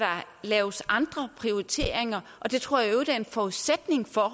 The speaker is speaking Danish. laves andre prioriteringer og det tror jeg i øvrigt er en forudsætning for